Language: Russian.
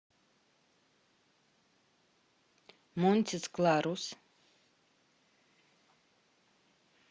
монтис кларус